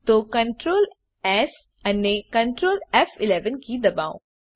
તો ctrl S અને Ctrl ફ11 કી દબાવો